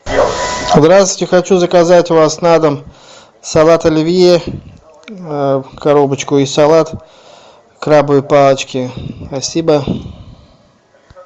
здравствуйте хочу заказать у вас на дом салат оливье коробочку и салат крабовые палочки спасибо